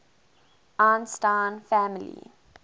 einstein family